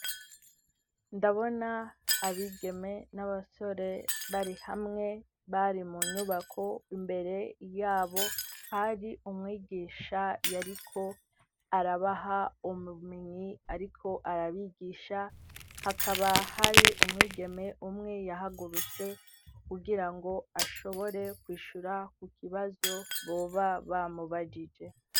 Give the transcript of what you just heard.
Ndabona abigeme n'abasore bari hamwe, bari mu nyubako, imbere y'abo, hari umwigisha yariko arabaha ubumenyi, ariko arabigisha; hakaba hari umwigeme umwe yahagurutse, kugira ngo ashobore kwishura ku kibazo boba bamubagije.